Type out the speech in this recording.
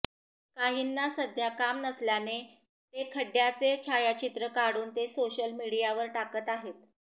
काहींना सध्या काम नसल्याने ते खड्ड्याचे छायाचित्र काढून ते सोशल मीडियावर टाकत आहेत